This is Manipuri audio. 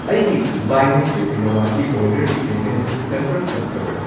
ꯑꯩꯒꯤ ꯕꯥꯏ ꯅꯦꯆꯔ ꯀꯤꯅꯋꯥꯒꯤ ꯑꯣꯔꯗꯔꯒꯤ ꯄꯦꯃꯦꯟꯠ ꯑꯗꯨ ꯀꯟꯐꯥꯔꯝ ꯇꯧꯈ꯭ꯔꯕꯔꯥ?